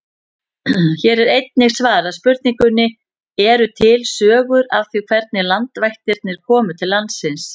Hér er einnig svarað spurningunni: Eru til sögur af því hvernig landvættirnar komu til landsins?